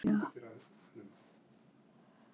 Sólveig Kristín og Rakel Amelía.